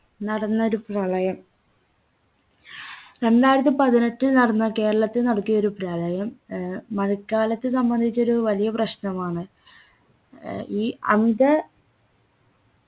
നടന്നൊരു പ്രളയം രണ്ടായിരത്തി പതിനെട്ടിൽ നടന്ന കേരളത്തെ നടുക്കിയ ഒരു പ്രളയം ഏർ മഴക്കാലത്തെ സംബന്ധിച്ചൊരു വലിയ പ്രശ്നമാണ് ഏർ ഈ അമിത